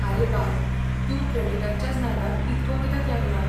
आरे बाब, तूं क्रॅडिटांच्याच नादाक इतको कित्याक लागला?